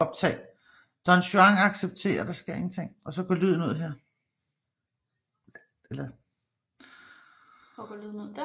Don Juan accepterer invitationen og får serveret orme og skorpioner